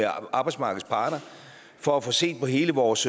arbejdsmarkedets parter for at få set på hele vores